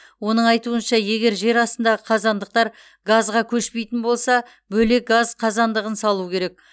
оның айтуынша егер жерастындағы қазандықтар газға көшпейтін болса бөлек газ қазандығын салу керек